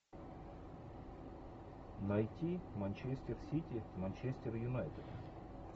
найти манчестер сити манчестер юнайтед